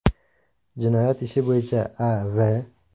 Jinoyat ishi bo‘yicha A.V.